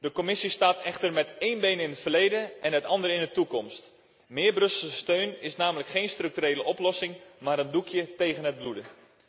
De Commissie staat echter met één been in het verleden en met het andere in de toekomst. Meer Brusselse steun is namelijk geen structurele oplossing maar een doekje tegen het bloeden.